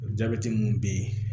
O jabɛti minnu bɛ yen